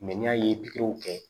ni y'a ye pikiriw kɛ